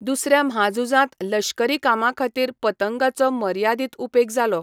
दुसऱ्या म्हाझुजांत लश्करी कामांखातीर पतंगांचो मर्यादीत उपेग जालो.